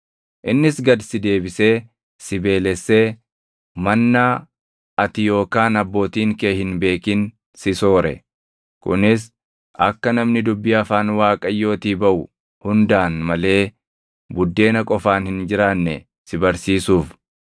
Innis gad si deebisee si beelessee “mannaa” ati yookaan abbootiin kee hin beekin si soore; kunis akka namni dubbii afaan Waaqayyootii baʼu hundaan malee buddeena qofaan hin jiraanne si barsiisuuf.